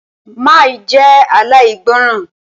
Má jẹ́ aláìgbọràn!